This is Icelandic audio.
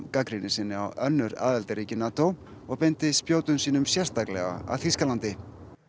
gagnrýni sinni á önnur aðildarríki NATO og beindi spjótum sínum sérstaklega að Þýskalandi